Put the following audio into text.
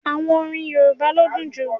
Àwọn orín Yorùbá ló dùn jú.